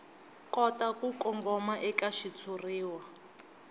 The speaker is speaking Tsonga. kota ku kongoma eka xitshuriwa